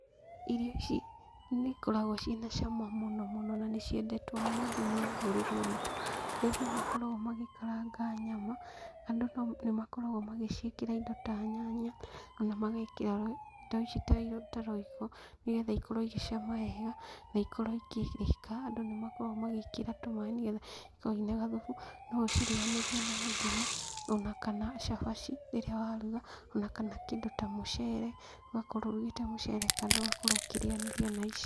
Irio ici nĩikoragwo ciĩna cama mũno mũno na nĩciendetwo mũno thĩinĩ wa rũrĩrĩ rwitũ, harĩa andũ makoragwo magĩkaranga nyama, andũ nĩmakoragwo magĩciĩkĩra indo ta nyanya, ona magekĩra indo ici ta royco, nĩgetha ikorwo igĩcama wega, na ikorwo ikĩrĩka. Andũ nĩmekĩraga tũmaaĩ nĩgetha ikorwo ciĩna gathubu, noũcirĩanĩrie na ngima, ona kana cabaci rĩrĩa waruga, ona kana kĩndũ ta mũcere, ũgakorwo ũrugĩte mũcere kando ũgakorwo ũkĩrĩanĩria na ici.